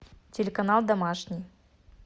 телеканал домашний